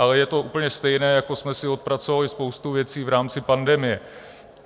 Ale je to úplně stejné, jako jsme si odpracovali spoustu věcí v rámci pandemie.